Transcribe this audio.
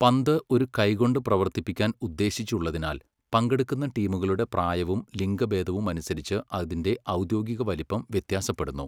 പന്ത് ഒരു കൈകൊണ്ട് പ്രവർത്തിപ്പിക്കാൻ ഉദ്ദേശിച്ചുള്ളതിനാൽ, പങ്കെടുക്കുന്ന ടീമുകളുടെ പ്രായവും ലിംഗഭേദവും അനുസരിച്ച് അതിന്റെ ഔദ്യോഗിക വലിപ്പം വ്യത്യാസപ്പെടുന്നു.